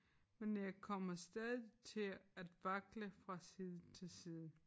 Men jeg kommer stadig til at vakle fra side til side